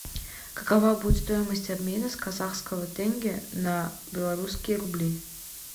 какова будет стоимость обмена с казахского тенге на белорусские рубли